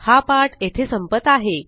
हा पाठ येथे संपत आहे